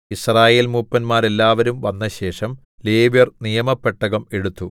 യിസ്രായേൽമൂപ്പന്മാരെല്ലാവരും വന്നശേഷം ലേവ്യർ നിയമപെട്ടകം എടുത്തു